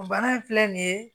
O bana in filɛ nin ye